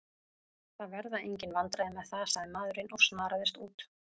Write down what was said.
Það verða engin vandræði með það, sagði maðurinn og snaraðist út.